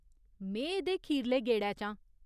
में एह्दे खीरले गेड़ै च आं।